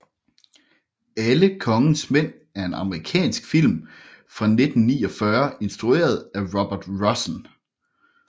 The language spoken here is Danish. Alle kongens mænd er en amerikansk film fra 1949 instrueret af Robert Rossen